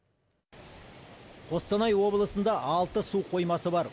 қостанай облысында алты су қоймасы бар